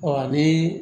Ɔ ni